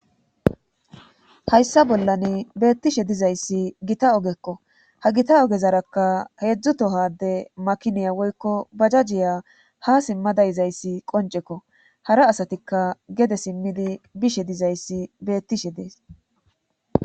hayssa bollan beettishe dizayssi gita ogekko ha gita ogezarakka heedzdzutohade makiniya woykko bajajiya ha simmada yizayssi qoncekko hara asatikka gede simmidi bishe dizayssi beettishe dees